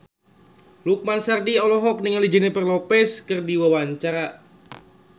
Lukman Sardi olohok ningali Jennifer Lopez keur diwawancara